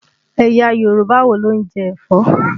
Ẹ̀yà Yorùbá wo ló ń jẹ ẹ̀fọ́?